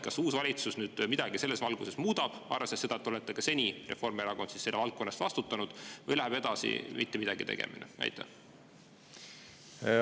Kas uus valitsus selles midagi muudab, arvestades seda, et te ka seni – Reformierakond siis – olete vastutanud selle valdkonna eest, või läheb mittemidagitegemine edasi?